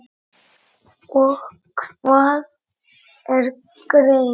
og Hvað er greind?